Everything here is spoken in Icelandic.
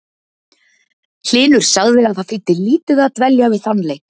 Hlynur sagði að það þýði lítið að dvelja við þann leik.